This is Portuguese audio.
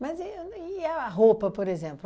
Mas e ni e a roupa, por exemplo?